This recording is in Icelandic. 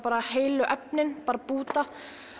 heilu efnin bara búta